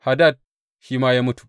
Hadad shi ma ya mutu.